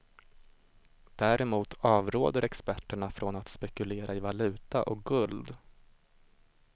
Däremot avråder experterna från att spekulera i valuta och guld.